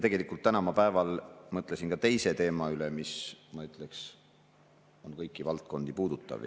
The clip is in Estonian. Täna päeval ma mõtlesin ka teise teema üle, mis, ma ütleksin, on kõiki valdkondi puudutav.